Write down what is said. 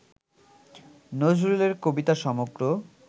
নজরুলের কবিতা সমগ্র